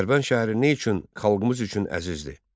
Dərbənd şəhəri nə üçün xalqımız üçün əzizdir?